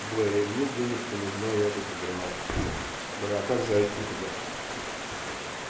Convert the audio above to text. бля и мне денежку нужно я бы сыграл бля как зайти туда